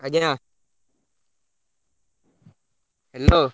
ଆଜ୍ଞା Hello।